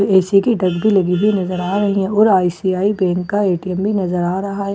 AC की डिब्बी लगी भी नजर आ रही है और आई_सी_आई बैंक का ए_टी_एम भी नजर आ रहा है।